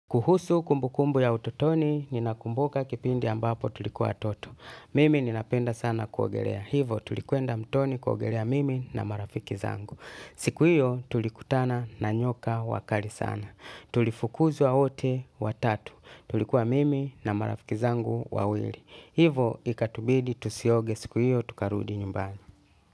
Kuhusu kumbu kumbu ya utotoni, ninakumbuka kipindi ambapo tuliku wa toto. Mimi ninapenda sana kuogelea. Hivo tulikwenda mtoni kuogelea mimi na marafiki zangu. Siku hiyo tulikutana na nyoka wakali sana. Tulifukuzwa wote wa tatu. Tulikuwa mimi na marafiki zangu wa wili. Hivo ikatubidi tusioge siku hiyo tukarudi nyumbani.